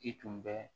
I tun bɛ